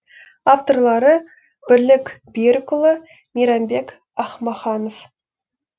авторлары бірлік берікұлы мейрамбек ахмаханов